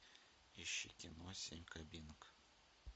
ищи кино семь кабинок